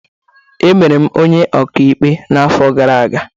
Emere m onye ọka ikpe n'arọ gara aga.